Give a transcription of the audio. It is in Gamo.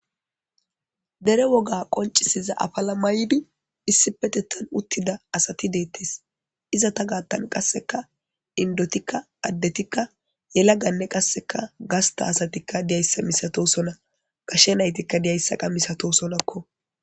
dere woga qoncisiza afala maybi issi peteththan uttida asati deettes izeta gaththani gaattan qasseka indotikka addetikka yelaganne qasseka gasta asatikka diyayisa misatosona gashe naytikka diyayssaqa misato sonakko